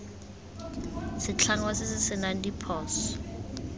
setlhangwa se se senang diphoso